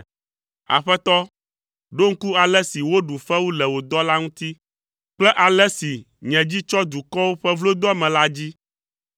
Aƒetɔ, ɖo ŋku ale si woɖu fewu le wò dɔla ŋuti kple ale si nye dzi tsɔ dukɔwo ƒe vlodoame la dzi.